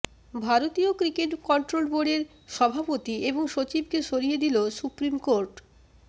ভারতীয় cricket control বোর্ডের সভাপতি এবং সচিবকে সরিয়ে দিল সুপ্রিম কোর্ট